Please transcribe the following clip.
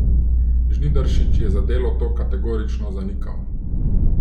Žnidaršič je za Delo to kategorično zanikal.